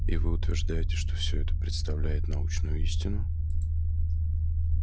и вы утверждаете что всё это представляет научную истину